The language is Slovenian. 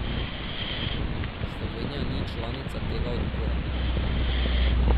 Slovenija ni članica tega odbora.